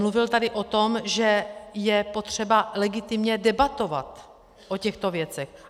Mluvil tady o tom, že je potřeba legitimně debatovat o těchto věcech.